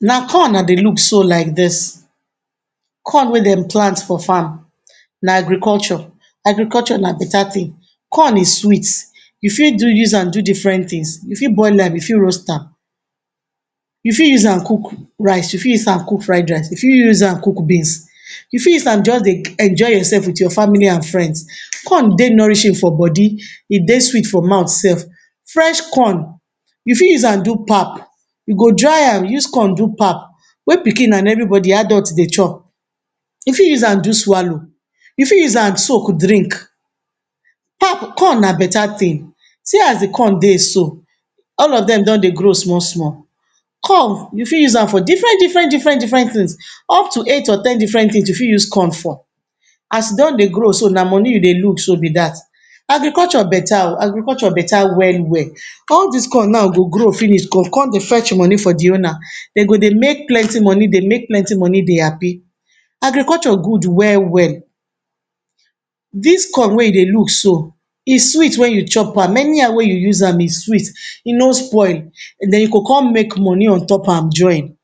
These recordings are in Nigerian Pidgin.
Na corn I dey look so like dis, corn wey dem plant for farm. Na agriculture. Agriculture na beta tin. Corn is sweet, you fit do use an do different tins. You fit boil am, you fit roast am. You fit use an cook rice, you fit use an cook fried rice, you fit use an cook beans. You fit use an juz dey enjoy yoursef with your family an friends. Corn dey nourishing for body, e dey sweet for mouth sef. Fresh corn, you fit use an do pap. You go dry am use corn do pap wey pikin an everybodi adult dey chop. You fit use an do swallow, you fit use an soak drink. Pap corn na beta tin. See as di corn dey so. All of dem don dey grow small-small. Corn you fit use am for different different different different tins. Up to eight or ten different tins you fit use corn for. As don dey grow so, na money you dey look so be dat. Agriculture beta oh. Agriculture beta well-well. All dis corn nau go grow finish go con dey fetch money for di owner. De go dey make plenti money, dey make plenti money, dey happy. Agriculture good well-well. Dis corn wey you dey look so, e sweet wen you chop am. Anyhow wey you use am e sweet. E no spoil, then you go con make money on top am join.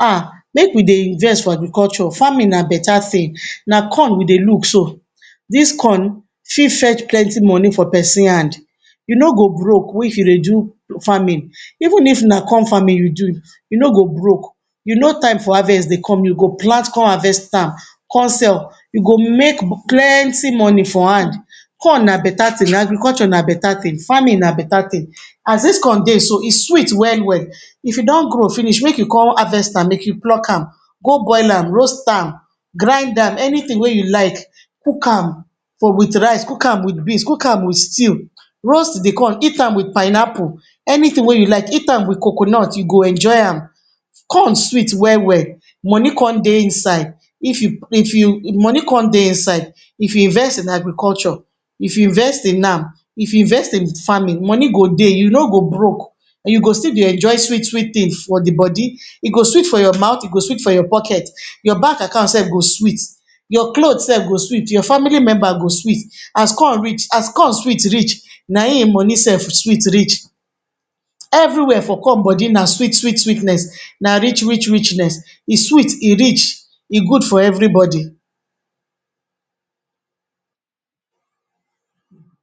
Ah! Make we dey invest for agriculture. Farming na beta tin. Na corn we dey look so. Dis corn fit fetch plenti money for pesin hand. You no go broke if you dey do farming. Even if na corn farming you do, you no go broke. You know time for harvest dey come. You go plant con harvest am, con sell. You go make plenti money for hand. Corn na beta tin; agriculture na beta tin; farming na beta tin. As dis corn dey so, e sweet well-well. If e don grow finish, make you con harvest am, make you pluck am, go boil am, roast am, grind am, anytin wey you like. Cook am for with rice, cook am with beans, cook am with stew. Roast di corn, eat am with pineapple, anytin wey you like. Eat am with coconut, you go enjoy am. Corn sweet well-well, money con dey inside. If you if you money con dey inside. If you invest in agriculture, if you invest in am, if you invest in farming, money go dey, you no go broke, you go still dey enjoy sweet-sweet tins for di bodi. E go sweet for your mouth, e go sweet for your pocket, your bank account sef go sweet, you cloth sef go sweet, your family member go sweet. As con reach, as corn sweet reach, na ein ein money sef sweet reach. Everywhere for corn body na sweet sweet sweetness, na rich rich richness. E sweet, e rich, e good for everybodi.